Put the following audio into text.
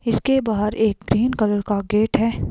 इसके बाहर एक ग्रीन कलर का गेट है।